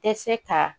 Tɛ se ka